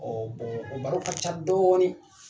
baro ka ca dɔɔnin